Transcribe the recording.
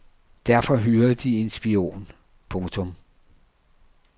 Derfor hyrede de en spion. punktum